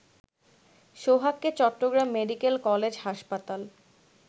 সোহাগকে Chittagong medical college হাসপাতাল